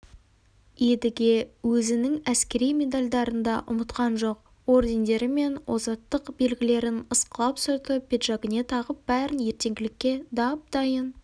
едіге өзінің әскери медальдарын да ұмытқан жоқ ордендері мен озаттық белгілерін ысқылап сүртіп пиджагіне тағып бәрін ертеңгілікке дап-дайын